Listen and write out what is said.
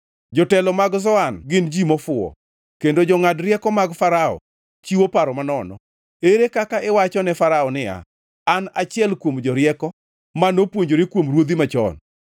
Jotelo mag Zoan gin ji mofuwo, kendo jongʼad rieko mag Farao chiwo paro manono. Ere kaka iwacho ne Farao niya, “An achiel kuom jorieko, ma nopuonjore kuom ruodhi machon?”